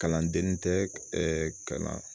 Kalanden tɛ ka na